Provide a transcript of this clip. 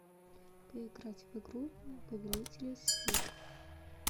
поиграть в игру повелители сфер